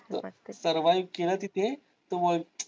servive केलं तिथे तर होईल.